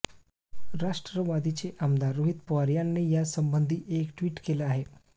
राष्ट्रवादीचे आमदार रोहित पवार यांनी यासंबंधी एक ट्विट केलं आहे